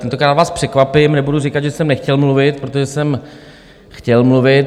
Tentokrát vás překvapím, nebudu říkat, že jsem nechtěl mluvit, protože jsem chtěl mluvit.